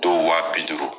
Dɔw wa bi duuru